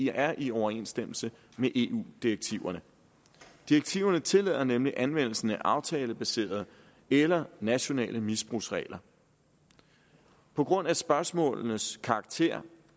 er i overensstemmelse med eu direktiverne direktiverne tillader nemlig anvendelsen af aftalebaseret eller nationale misbrugsregler på grund af spørgsmålenes karakter